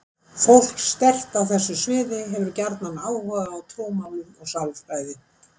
Fólk sterkt á þessu sviði hefur gjarnan áhuga á trúmálum og sálfræði.